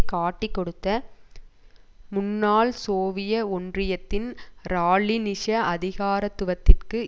காட்டிக் கொடுத்த முன்னாள் சோவிய ஒன்றியத்தின் ராலினிச அதிகாரத்துவத்திற்கு